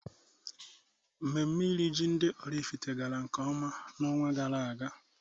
Mmemme iri ji ndị Oraifite gara nkeọma na-ọnwa gara aga.